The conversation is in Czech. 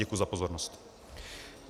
Děkuji za pozornost.